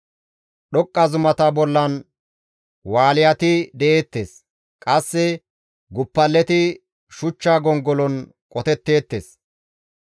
Dhoqqa zumata bollan Wushati de7eettes; qasse guppaleti shuchcha gongolon qotetteettes.